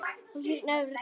Það hýrnar yfir Klöru.